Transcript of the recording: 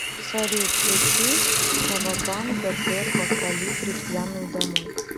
салют включи кавабанга депо колибри пьяную домой